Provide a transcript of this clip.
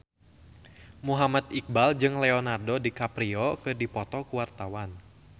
Muhammad Iqbal jeung Leonardo DiCaprio keur dipoto ku wartawan